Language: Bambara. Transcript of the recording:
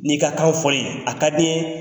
N'i ka kan fɔ n ye, a ka di n ye